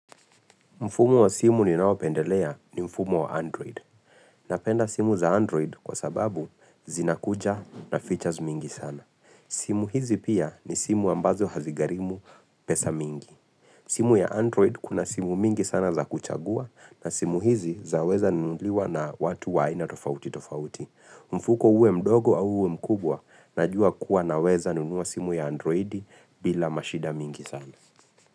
Mfumo wa simu ninaopendelea ni mfumo wa Android. Napenda simu za Android kwa sababu zinakuja na features mingi sana. Simu hizi pia ni simu ambazo hazigarimu pesa mingi. Simu ya Android kuna simu mingi sana za kuchagua na simu hizi zaweza nunuliwa na watu wa ina tofauti tofauti. Mfuko uwe mdogo au uwe mkubwa najua kuwa naweza nunua simu ya Android bila mashida mingi sana.